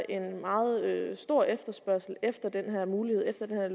en meget stor efterspørgsel efter den her mulighed efter den her